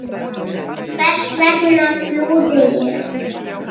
Hvers vegna flúði ég?